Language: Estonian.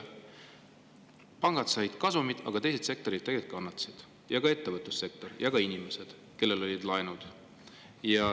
Pangad said kasumit, aga teised sektorid kannatasid, ka ettevõtlussektor ja inimesed, kellel olid laenud.